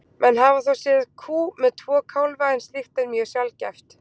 Menn hafa þó séð kú með tvo kálfa en slíkt er mjög sjaldgæft.